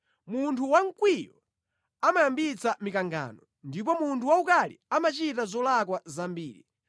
Munthu wamkwiyo amayambitsa mikangano, ndipo munthu waukali amachita zolakwa zambiri.